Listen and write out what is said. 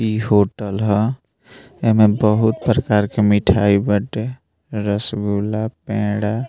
इ होटल हा | एमे बहुत प्रकार के मिठाई बाटे रसगुल्ला पेड़ा --